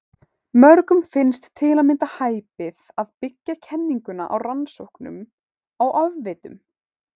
Mörgum finnst til að mynda hæpið að byggja kenninguna á rannsóknum á ofvitum.